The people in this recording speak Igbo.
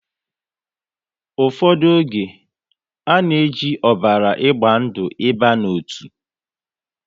Ụfọdụ oge, a na e ji ọbara agba ndụ ị ba n'otu